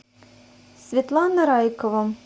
светлана райкова